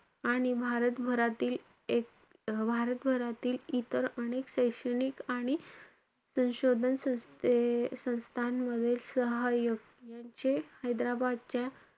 आणि भारतभरातील~ अं भारतभरातील इतर अनेक शैक्षणिक आणि संशोधन संस्थे~ संस्थामधील सहाय्यक यांचे हैदराबादच्या,